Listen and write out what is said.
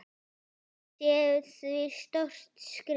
Þetta sé því stórt skref.